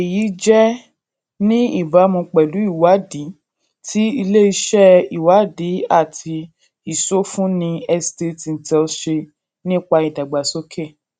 èyí jẹ ní ìbámu pẹlú ìwádìí tí iléiṣẹ ìwádìí àti ìsọfúnni estate intel ṣe nípa ìdàgbàsókè